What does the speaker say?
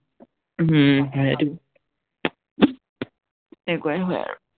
হম সেইটো সেনেকুৱাই হয় আৰু